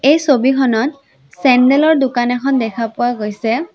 এই ছবিখনত চেন্দেল ৰ দোকান এখন দেখা পোৱা গৈছে।